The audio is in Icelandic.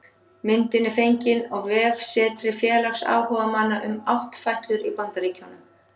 Myndin er fengin á vefsetri félags áhugamanna um áttfætlur í Bandaríkjunum